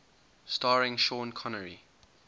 starring sean connery